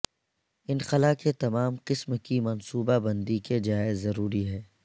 انخلاء کے تمام قسم کی منصوبہ بندی کی جائے ضروری ہے